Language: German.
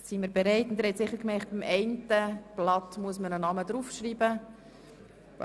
Sie haben sicher gemerkt, dass man bei einem Blatt einen Namen aufschreiben muss.